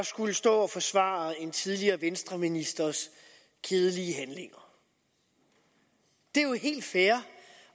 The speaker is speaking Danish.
skulle stå og forsvare en tidligere venstreministers kedelige handlinger det er jo helt fair